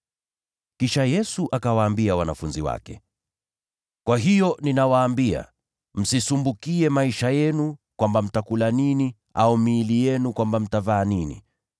Kisha Yesu akawaambia wanafunzi wake: “Kwa hiyo nawaambia, msisumbukie maisha yenu kwamba mtakula nini; au msumbukie miili yenu kwamba mtavaa nini.